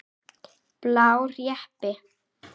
Blár jeppi.